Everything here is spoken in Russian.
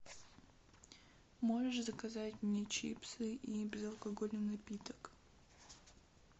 можешь заказать мне чипсы и безалкогольный напиток